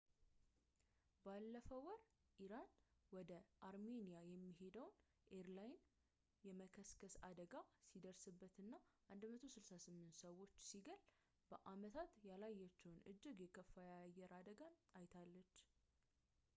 ባለፈው ወር ኢራን ወደ አርሜኒያ የሚሄድ ኤርላይነር የመከስከስ አደጋ ሲደርስበትና 168 ሰዎችን ሲገል በዓመታት ያላየችውን እጅግ የከፋ የአየር አደጋን አይታለች